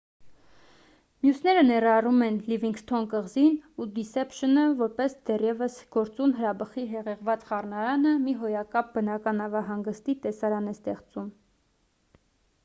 մյուսները ներառում են լիվինգսթոն կղզին ու դիսեփշնը որտեղ դեռևս գործուն հրաբխի հեղեղված խառնարանը մի հոյակապ բնական նավահանգստի տեսարան է ստեղծում